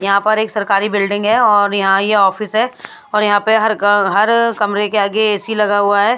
यहां पर एक सरकारी बिल्डिंग है और यहां ये ऑफिस है और यहां पे हर ग हर कमरे के आगे ए_सी लगा हुआ है।